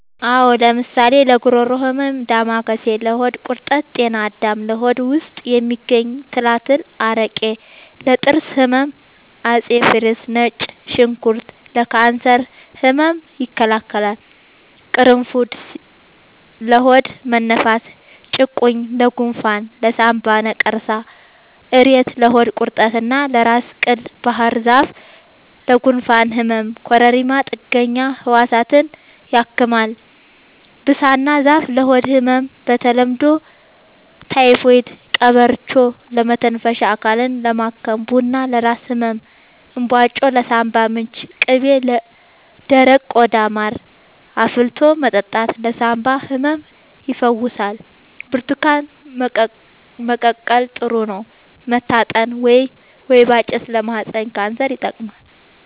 አዎ ለምሳሌ ለጉሮሮ ህመም ዳማከሴ ለሆድ ቁርጠት ጤና አዳም ለሆድ ውስጥ የሚገኙ ትላትል አረቄ ለጥርስ ህመም አፄ ፋሪስ ነጭ ሽንኩርት ለካንሰር ህመም ይከላከላል ቁሩፉድ ለሆድ መነፋት ጭቁኝ ለጎንፋን ለሳንባ ነቀርሳ እሬት ለሆድ ቁርጠት እና ለራስ ቅል ባህርዛፍ ለጉንፋን ህመም ኮረሪማ ጥገኛ ህዋሳትን ያክማል ብሳና ዛፍ ለሆድ ህመም በተለምዶ ታይፎድ ቀበርቿ ለመተንፈሻ አካልን ለማከም ቡና ለራስ ህመም እንባጮ ለሳንባ ምች ቅቤ ለደረቀ ቆዳ ማር አፍልቶ መጠጣት ለሳንባ ህመም ይፈውሳል ብርቱካን መቀቀል ጥሩ ነው መታጠን ወይባ ጭስ ለማህፀን ካንሰር ይጠቅማል